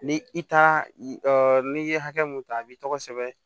Ni i ta n'i ye hakɛ mun ta a b'i tɔgɔ sɛbɛn